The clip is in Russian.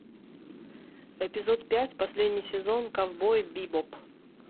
эпизод пять последний сезон ковбой бибоп